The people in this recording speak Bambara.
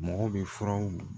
Mɔgɔw bɛ furaw